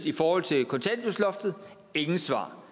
i forhold til kontanthjælpsloftet intet svar